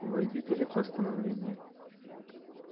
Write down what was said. вы видели постановление